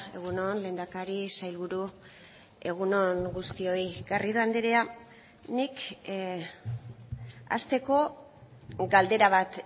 egun on lehendakari sailburu egun on guztioi garrido andrea nik hasteko galdera bat